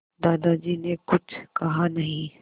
दादाजी ने कुछ कहा नहीं